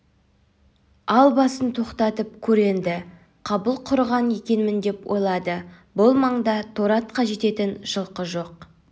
ал басын тоқтатып көр енді қабыл құрыған екенміндеп ойлады бұл маңда торы атқа жететін жылқы жоқ